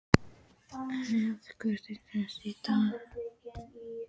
Judith, hver er dagsetningin í dag?